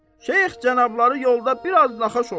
Şeyx cənabları yolda biraz naxoş olub.